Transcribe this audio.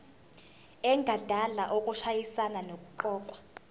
engadala ukushayisana nokuqokwa